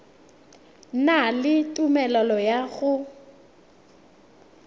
na le tumelelo ya go